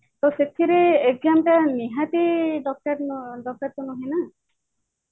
ତ ସେଥିରେ exam ଟା ନିହାତି ଦରକାର ତ ନୁହେଁ ନା